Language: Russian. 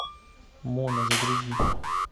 мона загрузи